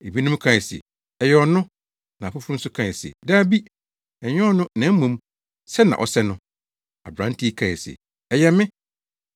Ebinom kae se, “Ɛyɛ ɔno,” na afoforo nso kae se, “Dabi, ɛnyɛ ɔno na mmom sɛ na ɔsɛ no.” Aberante yi kae se, “Ɛyɛ me.”